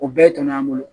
O bɛɛ tɔnɔ an bolo